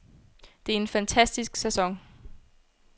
Det er en fantastisk sæson.